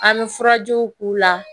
An bɛ furajiw k'u la